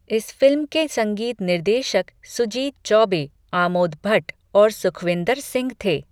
इस फिल्म के संगीत निर्देशक सुजीत चौबे, आमोद भट्ट और सुखविंदर सिंह थे।